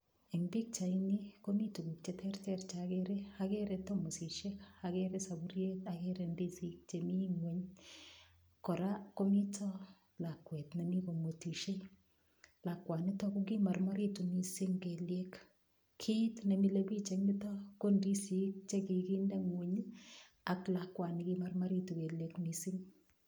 Eng' pikchaini komi tukuk cheterter chekere agere tomosishek akere sapuriet akere ndisik chemi ng'weny kora komito lakwet nemi komwetishei lakwanito kokimormoritu mising' kelyek kiit nemilei biich eng' yuto ko ndisik chekikinde ng'weny ak lakwani kimormoritu kelyek mising'